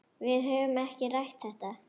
Við höfum ekki rætt þetta.